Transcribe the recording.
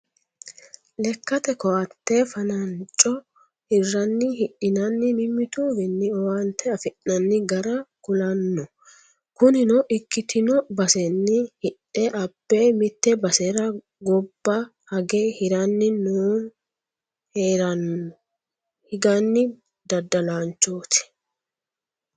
Lekkate koatte fananco hirani hidhinanni mimmituwinni owaante affi'nanni gara ku'lano kunino ikkitino baseni hidhe abbe mite basera gobba hage hiranni no, haranni higano daddalanchoti.